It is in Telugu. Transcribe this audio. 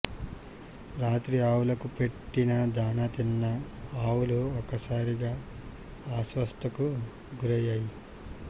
రాత్రి ఆవులకు పెట్టిన దాణా తిన్న ఆవులు ఒక్కసారిగా అస్వస్థతకు గురయ్యాయి